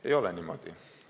Ei ole niimoodi!